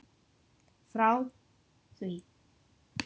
Frá því